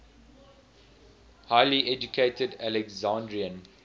highly educated alexandrian